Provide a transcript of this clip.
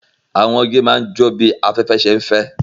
Awọn igi ma n jó bi afẹfẹ ṣe nfẹ